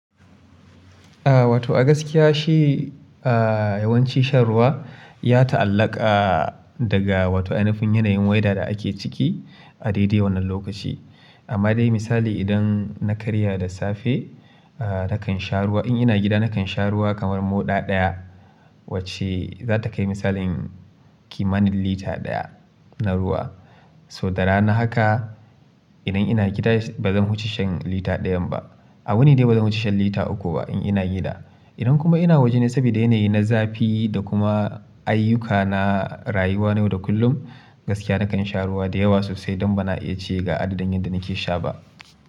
A wato a gaskiya shi, a yawanci shan ruwa ya ta'allaka daga wato ainifin yanayin weather da ake ciki a dai-dai wannan lokaci. Amma dai misali idan na karya da safe, a nakan sha ruwa in ina gida nakan sha ruwa kamar moɗa ɗaya wacce za ta kai misalin kimanin lita ɗaya na ruwa. To da rana haka idan ina gida bazan huce shan lita ɗayan ba. A wuni dai bazan wuce shan lita uku ba in ina gida. Idan kuma ina waje sabida yanayi na zafi da kuma ayyuka na rayuwa na yau da kullum, gaskiya nakan sha ruwa da yawa sosai don bana iya ce ga adadin yadda nake sha ba.